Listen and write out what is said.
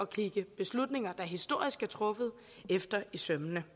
kigge beslutninger der historisk er truffet efter i sømmene